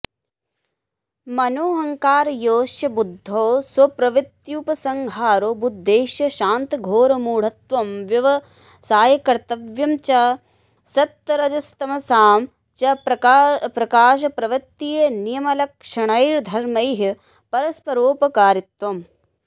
मनोऽहंकारयोश्च बुद्धौ स्वप्रवृत्त्युपसंहारो बुद्धेश्च शान्तघोरमूढत्वं व्यवसायकर्तृत्वं च सत्तरजस्तमसां च प्रकाशप्रवृत्तिनियमलक्षणैर्धर्मैः परस्परोपकारित्वम्